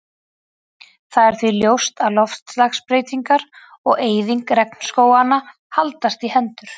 Það er því ljóst að loftslagsbreytingar og eyðing regnskóganna haldast í hendur.